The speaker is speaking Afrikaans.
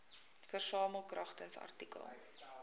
versamel kragtens artikel